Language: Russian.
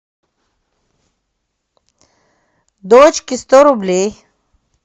дочке сто рублей